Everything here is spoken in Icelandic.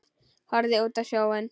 Horfði út á sjóinn.